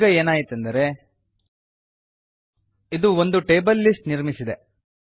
ಈಗ ಏನಾಯಿತೆಂದರೆ ಇದು ಒಂದು ಟೇಬಲ್ ಲಿಸ್ಟ್ ನಿರ್ಮಿಸಿದೆ